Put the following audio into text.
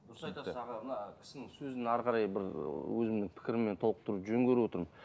дұрыс айтасыз аға мына кісінің сөзін ары қарай бір өзімнің пікіріммен толықтыруды жөн көріп отырмын